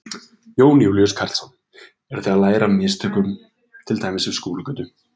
Jón Júlíus Karlsson: Eru þið að læra af mistökum til dæmis við Skúlagötu?